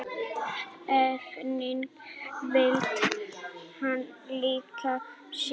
Efnin faldi hann í líkama sínum